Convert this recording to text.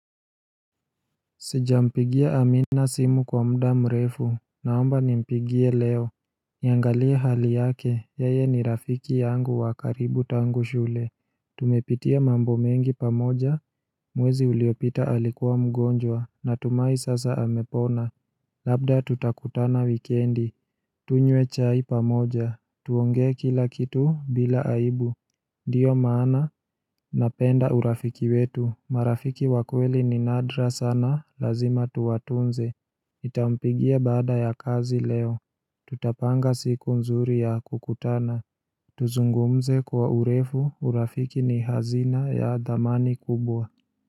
Sijampigia amina simu kwa mda mrefu, naomba nimpigie leo Niangalia hali yake, yeye ni rafiki yangu wakaribu tangu shule Tumepitia mambo mengi pamoja Mwezi uliopita alikuwa mgonjwa, na tumai sasa amepona Labda tutakutana wikendi, tunywe chai pamoja, tuongee kila kitu bila aibu Ndiyo maana Napenda urafiki wetu, marafiki wakweli ni nadra sana, lazima tuwatunze nitampigia baada ya kazi leo Tutapanga siku nzuri ya kukutana Tuzungumze kwa urefu, urafiki ni hazina ya dhamani kubwa.